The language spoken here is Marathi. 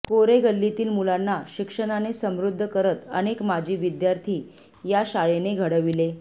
कोरे गल्लीतील मुलांना शिक्षणाने समृद्ध करत अनेक माजी विद्यार्थी या शाळेने घडविले